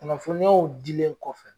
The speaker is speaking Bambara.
Kunnafoniyaw dilen kɔfɛ